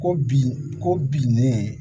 Ko bin ko binnen